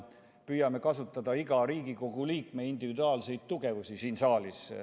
Püüame kasutada iga Riigikogu liikme individuaalseid tugevusi siin saalis.